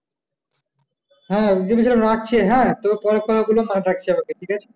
হ্যাঁ রাখছে হ্যাঁ তোকে পরে মা ডাকছে আমাকে ঠিক আছে